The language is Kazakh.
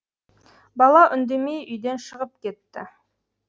бала үндемей үйден шығып кетті